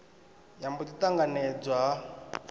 ya mbo ḓi ṱanganedzwa ha